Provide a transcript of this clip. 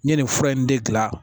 N ye nin fura in de gilan